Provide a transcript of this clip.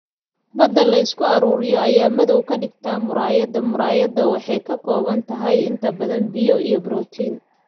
Bada la isku ururiyo ayaa madow kadigtaah muraayada muraayada waxay ka kooban tahay inta badan biyo iyo borotiin.